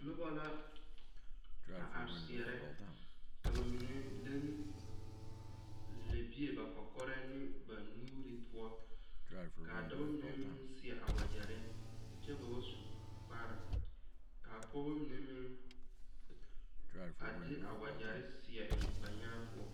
Noba la a are seɛrɛ ka ba mine leŋ lɛbie ba kɔkɔrɛŋ ne ba nuure poɔ ka a dɔba mine meŋ seɛ a wagyɛre kyɛ ba wa su kpare ka a pɔgeba mine meŋ a de a wagyɛre seɛ eŋ ba nyaa poɔ.